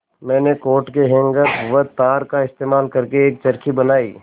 मैंने कोट के हैंगर व तार का इस्तेमाल करके एक चरखी बनाई